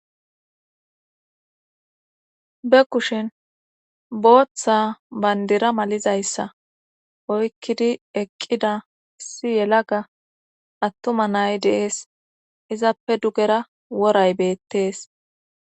Be kushin booththa bayndira malizayssa oykkidi eqqida issi yelaga attuma nay deees izappe dugera woray beettees